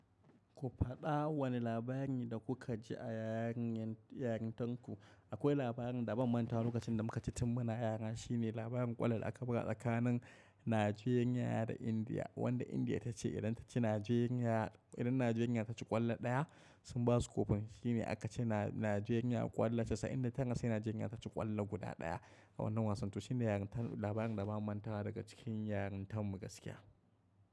Ku faɗa wane labari da kuka ji a yarintarku. Akwai labarin da ban mantawa lokacin da muka ji tun muna yara. Shine labarin ƙwallon da aka buga tsakanin Nigeria da India, wanda India tace idan taci Nigeria idan Nigeria taci ƙwallo ɗaya, sun basu kofin shine aka ci Najeriya ƙwallo casa'in da tara sai Nigeria taci ƙwallo guda ɗaya, a wannan wasan. To shine labarin da bana mantawa daga cikin yarintanmu gaskiya.